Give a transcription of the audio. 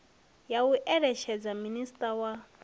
ya u eletshedza minisiṱa wa